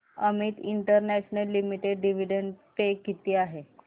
Amit international limited dividend pay किती आहे